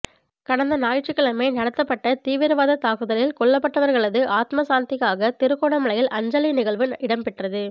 கடந்த ஞாயிற்றுக்கிழமை நடத்தப்பட்ட தீவிரவாத தாக்குதலில் கொல்லப்பட்டவர்களது ஆத்ம சாந்திக்காக திருகோணமலையில் அஞ்சலி நிகழ்வு இடம்பெற்றது